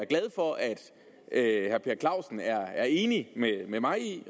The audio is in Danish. glad for at herre per clausen er enig med mig